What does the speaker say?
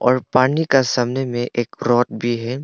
और पानी का सामने में एक फ्रॉट भी है।